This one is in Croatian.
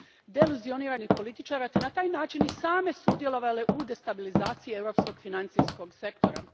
Deluzionirani političari su na taj način i sami sudjelovali u destabilizaciji europskog financijskog sektora.